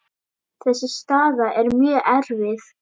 Þessi staða er mjög erfið.